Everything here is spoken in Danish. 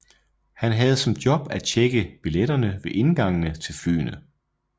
Han havde som job at tjekke billetterne ved indgangen til flyene